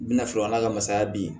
N bɛna sɔrɔ an ka masaya bi